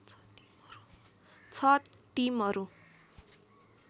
छ टिमहरू